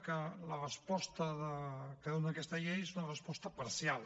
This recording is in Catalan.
que la resposta que dona aquesta llei és una resposta parcial